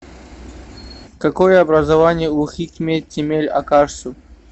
какое образование у хикмет темель акарсу